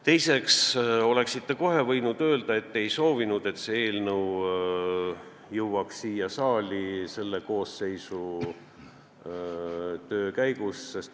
Teiseks, oleksite kohe võinud öelda, et te ei soovinud, et see eelnõu jõuab siia saali selle koosseisu töö ajal.